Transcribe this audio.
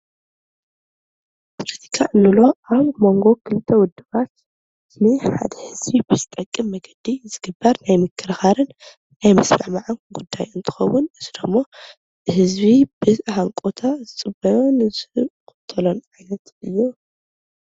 ፖለቲካ እንብሎ ኣብ መንጎ ክልተ ውድባት ንሓደ ህዝቢ ብዝጠቅም መንገዲ ዝግበር ናይ ምክርኻርን ምስምዕማዕን ጉዳይ እንትኸውን ከምኡ እውን ህዝቢ ብሃንቀውታ ዝፅበዮን ዝኽተሉ ዓይነት እዩ።